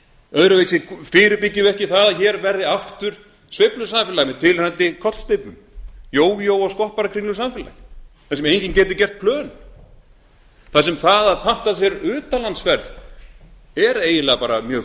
öðruvísi fyrirbyggjum við ekki það að hér verði aftur sveiflusamfélag með tilheyrandi kollsteypum jójó og skopparakringlusamfélag þar sem enginn geti geti gert plön þar sem það að panta sér utanlandsferð er eiginlega bara mjög